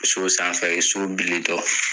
So sanfɛ ye, so bilitɔ